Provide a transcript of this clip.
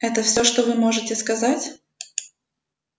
это всё что вы можете сказать